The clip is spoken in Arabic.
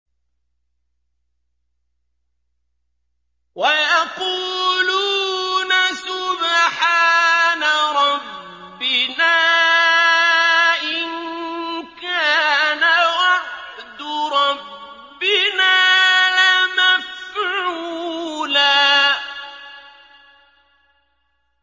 وَيَقُولُونَ سُبْحَانَ رَبِّنَا إِن كَانَ وَعْدُ رَبِّنَا لَمَفْعُولًا